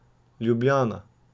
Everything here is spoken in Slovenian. Ljubljana.